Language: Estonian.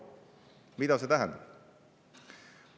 Mida see tähendab?